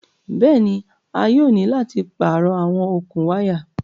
Bẹ́ẹ̀ni, a yóò ni láti páarọ̀ àwọn okun wàya